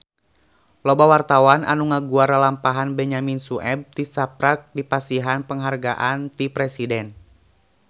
Loba wartawan anu ngaguar lalampahan Benyamin Sueb tisaprak dipasihan panghargaan ti Presiden